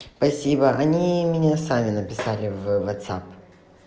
спасибо они меня сами написали в вотсап